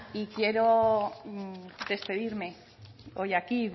quiero despedirme hoy aquí y